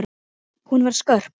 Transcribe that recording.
Hún var skörp.